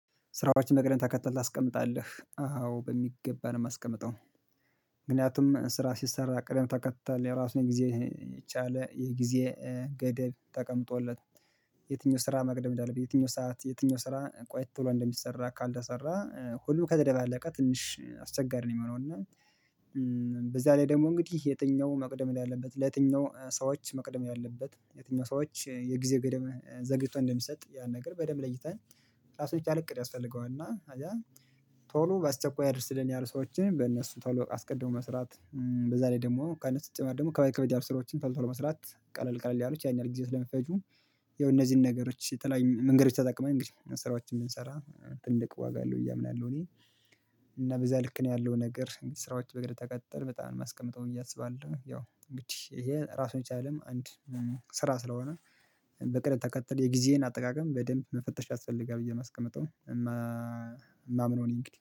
ስራዎችን መቅደም ተከተል ታስቀምጣለህ? አዎ በሚገባ ነው የማስቀምጠው። ስራ ሲሰራ ቀደም ተከተል የራሱን ጊዜ የቻለ የጊዜ ገደብ ተቀምጦለት የትኛው ስራ መቅደም እንዳለበት በየትኛው ሰዓት የትኛው ስራ ቆይቶ እንደሚሰራ ካልተሰራ ሁሉ ከተደባለቀ ትንሽ አስቸጋሪ ነው የሚሆነው። እና በዛ ላይ ደግሞ እንግዲህ የትኛው መቅደም እንዳለበት ለየትኛው ስራዎች መቅደም ያለበት የትኛው ስራዎች የጊዜ ገደብ ዘግይቶ እንደሚሰጥ ያን ነገር በደንብ ለይተን እራሱን የቻለ እቅድ ያስፈልገዋል እና ከዛ ቶሎ ባስቸኳይ አድርስልን ያሉ ሰዎችን በእነሱ ቶሎ አስቀድሞ መስራት በዛ ላይ ደግሞ ቀኑ ስጨመር ደግሞ ከባድ ከበድ ያሉ ስራዎችን ቶሎ ቶሎ መስራት ቀለል ቀለል ያሉት ያህን ያህል ጊዜው ስለሚፈጁ ያው እነዚህን ነገሮች የተለያዩ መንገዶች ተጠቅመን እንግዲህ ስራዎችን ብንሰራ ትልቅ ዋጋ አለው ብየ አምናለሁ እኔ እና በዛ ልክ ነው ያለው ነገር ስራዎች በእግድ ተቀጥል በጣም የማስቀምጠው እያሰባለሁ ያው እንግዲህ ይሄ ራሱን ይቻላልም አንድ ስራ ስለሆነ በቅደም ተከተል የጊዜን አጠቃቀም በደንብ መፈተሽ ያስፈልጋል ብዬ የማስቀምጠው የማምነው እኔ እንግዲህ